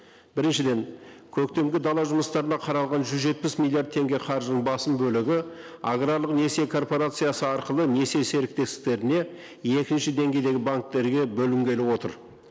біріншіден көктемгі дала жұмыстарына қаралған жүз жетпіс миллиард теңге қаржының басым бөлігі аграрлық несие корпорациясы арқылы несие серіктестіктеріне екінші деңгейдегі банктерге бөлінгелі отыр